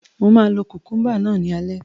Mo máa lo kukumba náà ní alẹ́